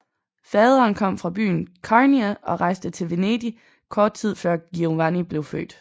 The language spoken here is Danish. Faderen kom fra byen Carnia og rejste til Venedig kort tid før Giovanni blev født